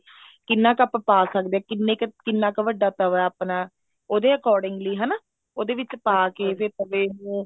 ਕਿੰਨਾ ਕੁ ਆਪਾਂ ਪਾ ਸਕਦੇ ਹਾਂ ਕਿੰਨਾ ਕ ਵੱਡਾ ਤਵਾ ਆਪਣਾ ਉਹਦੇ accordingly ਹਨਾ ਉਹਦੇ ਵਿੱਚ ਪਾ ਕੇ ਤੇ ਤਵੇ ਨੂੰ